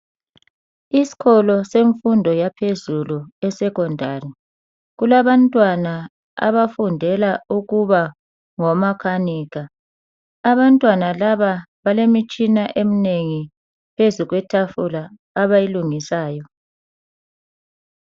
Isikolo semfundo yaphezulu esecondary. Kulabantwana abafundela ukuba ngo makanika. Abantwana laba balemitshina eminengi phezu kwe tafula abayilungisayo.